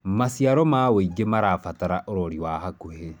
maciaro ma wũingi marabatara urori wa hakuhi